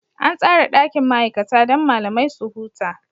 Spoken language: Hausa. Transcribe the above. An tsara ɗakin ma'aikata don malamai su huta.